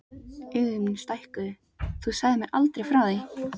Augu mín stækkuðu: Þú sagðir mér aldrei frá því!